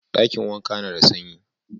Dakin wankan na da sanyi.